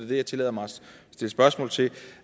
det jeg tillader mig at stille spørgsmål til